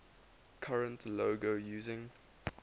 current logo using